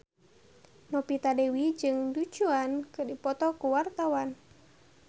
Novita Dewi jeung Du Juan keur dipoto ku wartawan